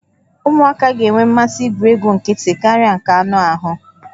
Ụmụaka ga-enwe mmasị igwu egwuregwu nkịtị karịa nke anụ ahụ